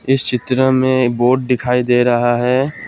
इस चित्र में एक बोर्ड दिखाई दे रहा है।